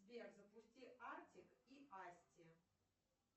сбер запусти артик и асти